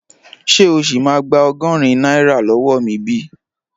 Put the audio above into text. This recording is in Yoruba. Ṣé o sì máa gba ọgọ́rin náírà lọ́wọ́ mi bi?